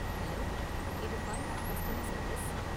Hello, இது FunArt customer service.